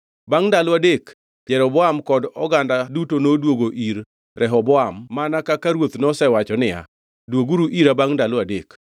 Bangʼ ndalo adek Jeroboam kod oganda duto noduogo ir Rehoboam mana kaka ruoth nosewacho niya, “Dwoguru ira bangʼ ndalo adek.”